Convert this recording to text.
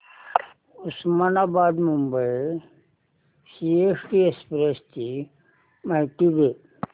Osmanabad Mumbai CST express ची माहिती दे